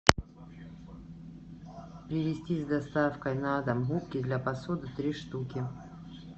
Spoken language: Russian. привезти с доставкой на дом губки для посуды три штуки